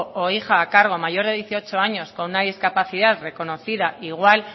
o hija a cargo mayor de dieciocho años con una discapacidad reconocida igual